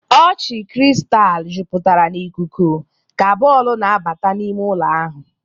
Ọchị kristal jupụtara n'ikuku ka bọọlụ na-abata n'ime ụlọ ahụ.